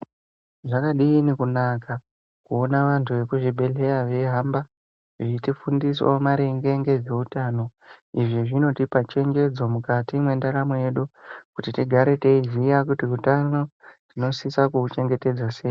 Zvakadini kunaka kuona antu ekuzvibhedhleya veihamba veitifundisawo maringe nezveutano izvi zvinotipa chenjedzo mukati mwendaramo yedu ngenyaya yekuti utano tinosisa kuhuchengetedza sei?